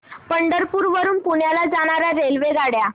पंढरपूर वरून पुण्याला जाणार्या रेल्वेगाड्या